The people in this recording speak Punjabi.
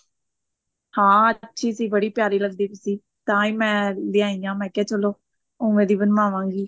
ਹਾਂ ਅੱਛੀ ਸੀ ਬੜੀ ਪਿਆਰੀ ਲੱਗਦੀ ਪਾਈ ਸੀ ਤਾਂਹੀ ਮੈਂ ਲੇਆਈ ਹਾਂ ਮੈਂ ਕਿਹਾ ਚਲੋ ਉਵੇਂ ਦੀ ਬਣਵਾਵਾਂਗੀ